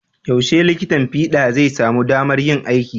Yaushe likitan fiɗa zai samu damar yin aiki?